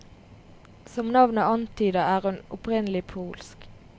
Som navnet antyder er hun opprinnelig polsk.